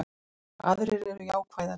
Aðrir eru jákvæðari